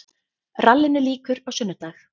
Rallinu lýkur á sunnudag